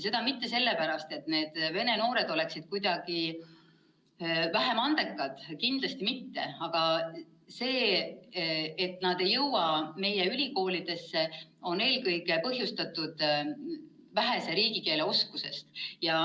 Mitte sellepärast, et vene noored oleksid kuidagi vähem andekad, kindlasti mitte, vaid see, et nad ei jõua meie ülikoolidesse, on põhjustatud eelkõige vähesest riigikeele oskusest.